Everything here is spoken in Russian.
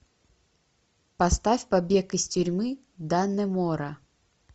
поставь побег из тюрьмы даннемора